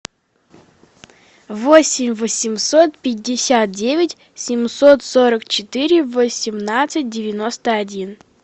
восемь восемьсот пятьдесят девять семьсот сорок четыре восемнадцать девяносто один